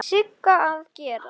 Sigga að gera?